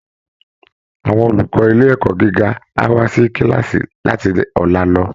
Àwọn olùkọ́ ilé ẹ̀kọ́ gíga á wá sí kíláàsì láti ọ̀la lọ